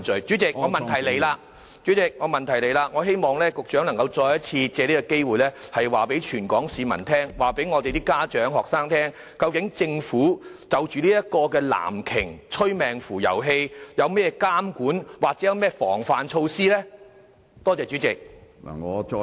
主席，我的補充質詢是，我希望局長能夠再一次借這個機會告訴全港市民，告訴家長和學生，究竟政府就這個"藍鯨"催命符遊戲，有甚麼監管或防範措施呢？